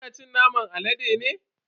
Kina cin naman alade ne?